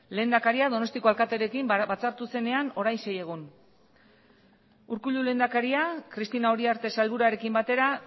lehendakaria donostiako alkatearekin batzartu zenean orain sei egun urkullu lehendakaria cristina uriarte sailburuarekin batera